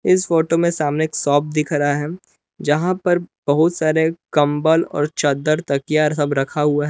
इस फोटो में सामने एक सोप दिख रहा है जहां पर बहुत सारे कंबल और चद्दर तकिया सब रखा हुआ है।